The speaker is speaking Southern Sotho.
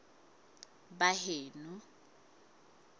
baheno